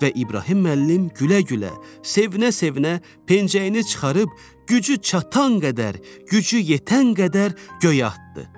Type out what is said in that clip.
Və İbrahim müəllim gülə-gülə, sevinə-sevinə pəncəyini çıxarıb gücü çatan qədər, gücü yetən qədər göyə atdı.